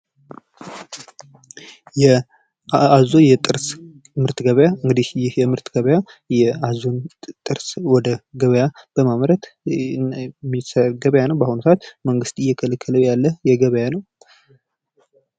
የአዞ የጥርስ ገበያ ይህ የምርት ገበያ የአዞ ጥርስ ወደ ገበያ በማምረት የሚሰራ ገበያ ነዉ። በአሁኑ ሰዓት መንግስት እየከለከለዉ ያለ ገበያ ነዉ።